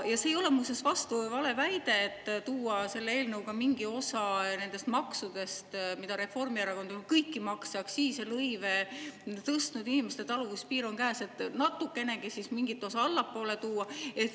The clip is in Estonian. Ja see ei ole muuseas vastu- või valeväide, et tuua selle eelnõuga mingi osa nendest maksudest, mida Reformierakond on, kõiki makse, aktsiise, lõive tõstnud, inimeste taluvuspiir on käes, et natukenegi siis mingit osa allapoole tuua.